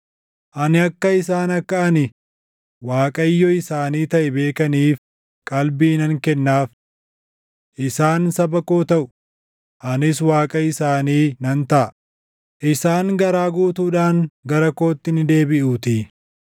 Ani akka isaan akka ani Waaqayyo isaanii taʼe beekaniif qalbii nan kennaaf. Isaan saba koo taʼu; anis Waaqa isaanii nan taʼa; isaan garaa guutuudhaan gara kootti ni deebiʼuutii.